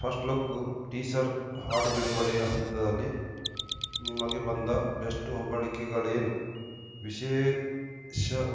first look teaser ಹಾಡು ಬಿಡುಗಡೆಯ ಹಂತದಲ್ಲಿ ನಿಮಗೆ ಬಂದ ಬೆಸ್ಟ್‌ ಹೊಗಳಿಕೆಗಳೇನು ವಿಶೇಷವಾ